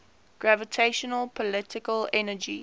gravitational potential energy